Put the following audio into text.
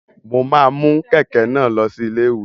Mo ma mu kẹkẹ náà lọ sí ilé-ìwé.